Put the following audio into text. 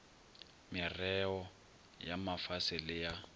merreo ya mafase le ya